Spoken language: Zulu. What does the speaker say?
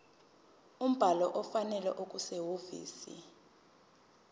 umbhalo ofanele okusehhovisi